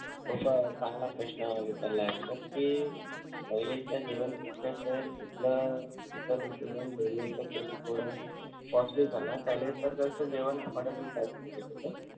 हो त चान्गला प्रश्न विचारलाय sir कि पहिलेच जेवण थोडं costly झालं पहिले तर घरच जेवण आवडत होत